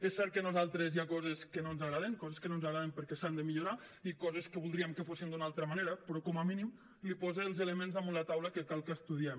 és cert que a nosaltres hi ha coses que no ens agraden coses que no ens agraden perquè s’han de millorar i coses que voldríem que fossin d’una altra manera però com a mínim posa els elements damunt la taula que cal que estudiem